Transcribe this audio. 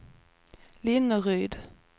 Linneryd